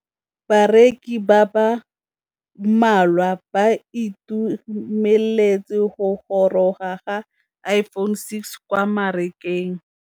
Bareki ba ba malwa ba ituemeletse go gôrôga ga Iphone6 kwa mmarakeng.